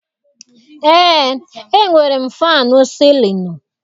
Eé, e nwere m fannụ sịlịnụ.